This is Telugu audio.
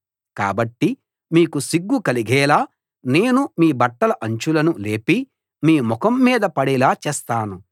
కాబట్టి మీకు సిగ్గు కలిగేలా నేను మీ బట్టల అంచులను లేపి మీ ముఖం మీద పడేలా చేస్తాను